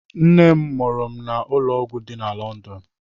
Nne m mụrụ m na ụlọọgwụ dị na London.